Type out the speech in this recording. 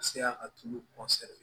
Ka se a tulu